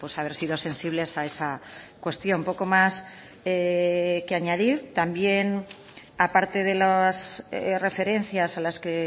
haber sido sensibles a esa cuestión poco más que añadir también a parte de las referencias a las que